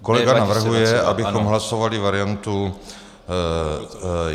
Kolega navrhuje, abychom hlasovali variantu